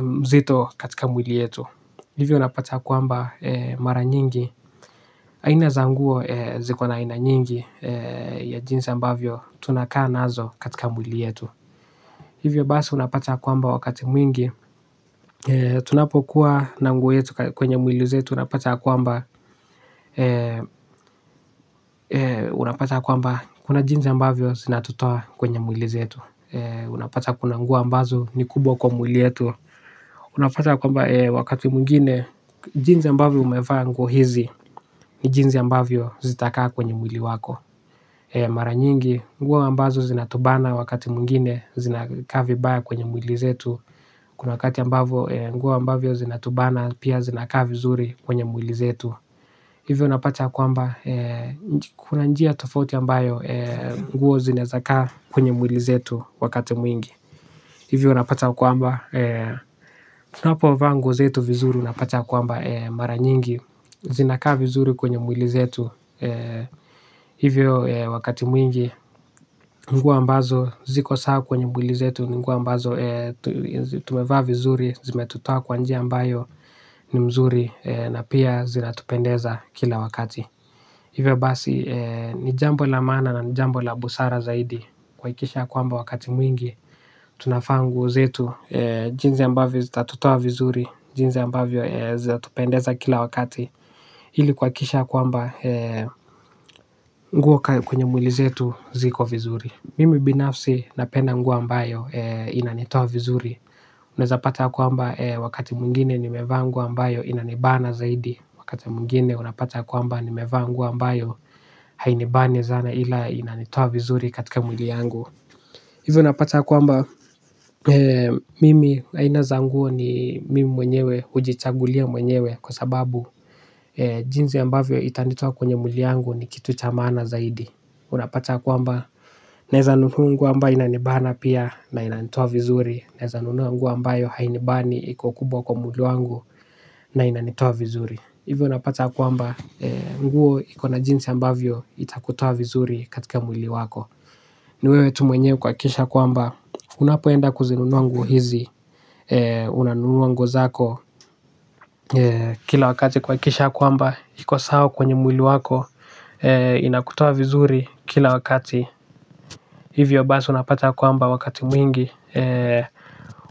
mzito katika mwili yetu. Hivyo unapata kwamba mara nyingi aina za nguo zikona aina nyingi ya jinsi ambavyo tunakaa nazo katika mwili yetu. Hivyo basi unapata kwamba wakati mwingi. Tunapokuwa na nguo yetu kwenye mwili zetu unapata ya kwamba unapata ya kwamba kuna jinsi ambavyo zinatutoa kwenye mwili zetu. Unapata kuna nguo ambazo ni kubwa kwa mwili yetu. Unapata ya kwamba wakati mwingine jinsi ambavyo umevaa nguo hizi ni jinsi ambavyo zitaka kwenye mwili wako mara nyingi nguo ambazo zinatubana wakati mwingine zinakaa vibaya kwenye mwili zetu kuna wakati ambovyo nguo ambavyo zinatubana pia zinakaa vizuri kwenye mwili zetu hivo unapata ya kwamba kuna njia tofoti ambayo nguo zinaezakaa kwenye mwili zetu wakati mwingi. Hivyo napata kwamba tunapo vaa nguo zetu vizuri unapata ya kwamba mara nyingi zinaka vizuri kwenye mwili zetu hivyo wakati mwingi nguo ambazo ziko sawa kwenye mwili zetu, nguo ambazo tumevaa vizuri, zimetutoa kwa njia ambayo ni mzuri na pia zilatupendeza kila wakati. Hivyo basi, nijambo la maana na nijambo la busara zaidi, kuhakikisha ya kwamba wakati mwingi, tunavaa nguo zetu, jinsi ambavyo zitatutoa vizuri, jinsi ambavyo zinatupendeza kila wakati. Hili kuhakikisha ya kwamba, nguo kwenye mwili zetu, ziko vizuri. Mimi binafsi napenda nguo ambayo inanitoa vizuri. Unaezapata ya kwamba wakati mwigine nimevaa nguo ambayo inanibana zaidi. Wakati mwigine unapata kwamba nimevaa nguo ambayo hainibani sana ila inanitoa vizuri katika mwili yangu. Hivyo unapata kwamba mimi haina za nguo ni mimi mwenyewe ujichagulia mwenyewe. Kwa sababu jinsi ambavyo itanitoa kwenye mwili yangu ni kitu cha maana zaidi. Unapata kwamba, naeza nunua nguo ambayo inanibana pia na inanitua vizuri. Naeza nunua nguo ambayo hainibani, iko kubwa kwa mwili wangu na inanitoa vizuri. Hivyo unapata kwamba, nguo ikona jinsi ambavyo itakutoa vizuri katika mwili wako. Ni wewe tu mwenye kuhakisha kwamba, unapoenda kuzinunua nguo hizi. Unanunua nguo zako, kila wakati kuhakisha kwamba, iko sawa kwenye mwili wako. Inakutoa vizuri kila wakati. Hivyo basi unapata ya kwamba wakati mwingi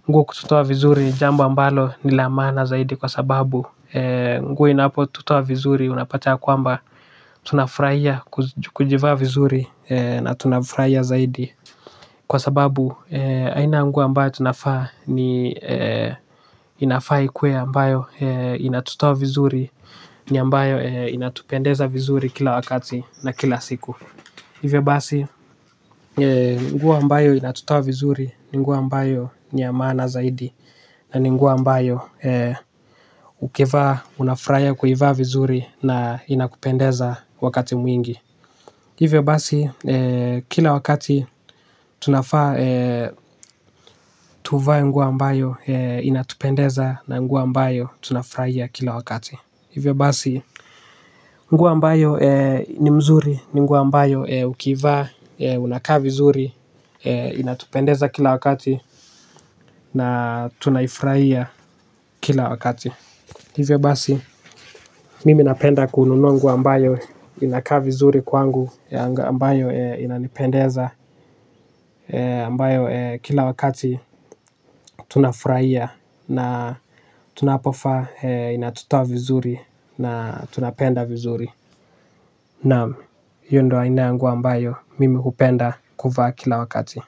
nguo kututoa vizuri jambo ambalo ni lamaana zaidi kwa sababu nguo inapo tutoa vizuri unapata ya kwamba, tunafurahia kujivaa vizuri na tunafurahia zaidi. Kwa sababu aina ya nguo ambayo tunavaa ni inafaa ikue ambayo inatutoa vizuri ni ambayo inatupendeza vizuri kila wakati na kila siku hivyo basi nguo ambayo inatutoa vizuri. Ni nguo ambayo ni ya maana zaidi. Na ni nguo ambayo ukivaa, unafurahia kuivaa vizuri. Na inakupendeza wakati mwingi. Hivyo basi, kila wakati tunafaa tuvae nguo ambayo inatupendeza. Na nguo ambayo tunafurahia kila wakati. Hivyo basi, nguo ambayo ni mzuri, ni nguo ambayo ukivaa, unakaa vizuri, inatupendeza kila wakati. Na tunaifurahia kila wakati. Hivyo basi, mimi napenda kununua ambayo inakaa vizuri kwangu, ambayo inanipendeza, ambayo kila wakati tunafurahia. Na tunapovaa, inatutoa vizuri, na tunapenda vizuri. Naam, hiyo ndio haina ya nguo ambayo mimi hupenda kuvaa kila wakati.